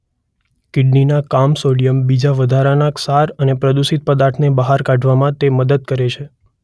કિડનીના કામ સોડિયમ બીજા વધારાના ક્ષાર અને પ્રદૂષિત પદાર્થને બહાર કાઢવામાં તે મદદ કરે છે.